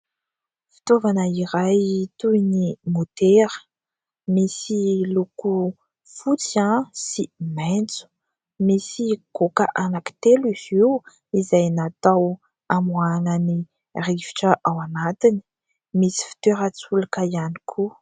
Fitaovana iray toy ny motera. Misy loko fotsy sy maitso. Misy goaka anankitelo izy io izay natao hamoahana ny rivotra ao anatiny. Misy fitoerantsolika ihany koa.